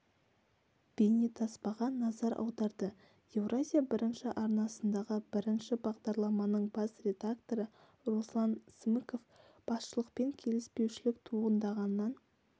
бейнетаспаға назар аударды еуразия бірінші арнасындағы бірінші бағдарламаның бас редакторы руслан смыков басшылықпен келіспеушілік туындағаннан